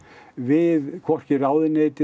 við hvorki ráðuneytið